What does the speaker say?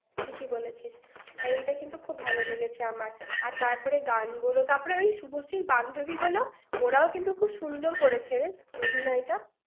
ঠিকই বলেছিস। এটা কিন্তু খুব ভাল লেগেছে আমার। আর তারপরে গান গুলো। তারপরে ওই শুভশ্রীর বান্ধবীগুলো। ওরাও কিন্তু খুব সুন্দর করেছে রে, অভিনয়টা।